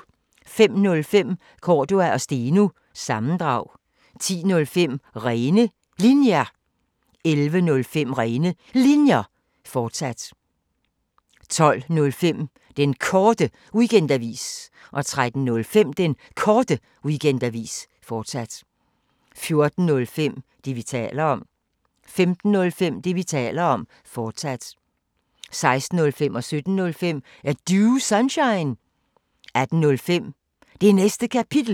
05:05: Cordua & Steno – sammendrag 10:05: Rene Linjer 11:05: Rene Linjer, fortsat 12:05: Den Korte Weekendavis 13:05: Den Korte Weekendavis, fortsat 14:05: Det, vi taler om 15:05: Det, vi taler om, fortsat 16:05: Er Du Sunshine? 17:05: Er Du Sunshine? 18:05: Det Næste Kapitel